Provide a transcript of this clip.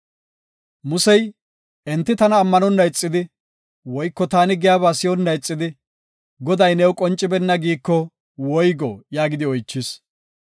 Musey, “Enti tana ammanonna ixidi, woyko taani giyaba si7onna ixidi, ‘Goday new qoncibeenna’ giiko woygo?” yaagidi oychis.